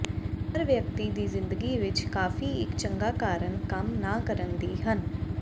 ਹਰ ਵਿਅਕਤੀ ਦੀ ਜ਼ਿੰਦਗੀ ਵਿੱਚ ਕਾਫ਼ੀ ਇੱਕ ਚੰਗਾ ਕਾਰਨ ਕੰਮ ਨਾ ਕਰਨ ਦੀ ਹਨ